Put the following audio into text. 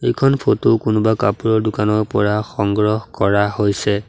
এইখন ফটো কোনোবা কাপোৰৰ দোকানৰ পৰা সংগ্ৰহ কৰা হৈছে।